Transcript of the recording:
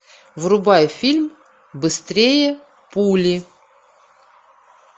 врубай фильм быстрее пули